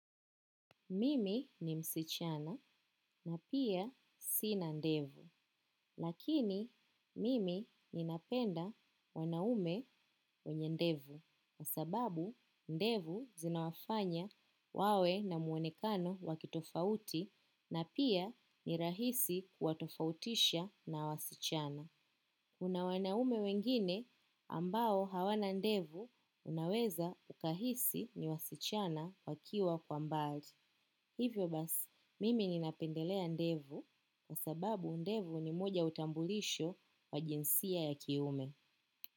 Mimi ni msichana na pia sina ndevu. Lakini mimi ninapenda wanaume wenye ndevu. Kwa sababu ndevu zinawafanya wawe na muonekano wa kitofauti na pia ni rahisi kuwatofautisha na wasichana. Kuna wanaume wengine ambao hawana ndevu unaweza ukahisi ni wasichana wakiwa kwa mbali. Hivyo basi mimi napendelea ndevu kwa sababu ndevu ni moja ya utambulisho wa jinsia ya kiume.